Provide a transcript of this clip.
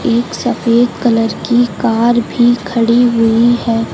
एक सफेद कलर की कार भी खड़ी हुई है।